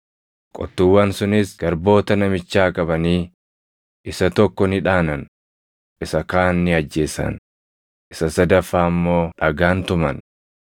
“Qottuuwwan sunis garboota namichaa qabanii, isa tokko ni dhaanan; isa kaan ni ajjeesan; isa sadaffaa immoo dhagaan tuman.